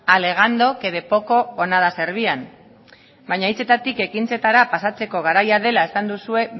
alegando que de poco o nada servían baina hitzetatik ekintzetara pasatzeko garaia dela esan duzue